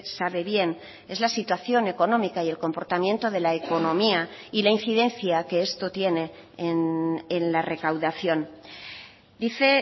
sabe bien es la situación económica y el comportamiento de la economía y la incidencia que esto tiene en la recaudación dice